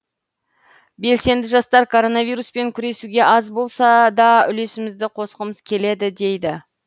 белсенді жастар коронавируспен күресуге аз болса да үлесімізді қосқымыз келеді дейді